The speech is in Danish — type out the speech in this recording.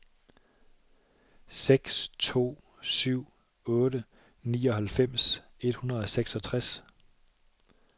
seks to syv otte nioghalvfems et hundrede og seksogtres